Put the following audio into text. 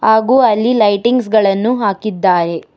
ಹಾಗು ಅಲ್ಲಿ ಲೈಟಿಂಗ್ಸ್ ಗಳನ್ನು ಹಾಕಿದ್ದಾರೆ.